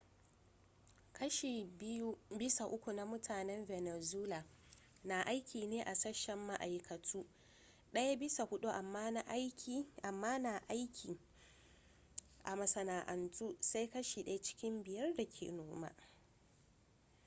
kashi biyu bisa uku na mutanen venezuela na aiki ne a sashen ma’aikatu daya bisa hudu kuma na aiki a masana’antu, sai kashi daya cikin biyar da ke noma